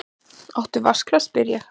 Áttu vatnsglas, spyr ég.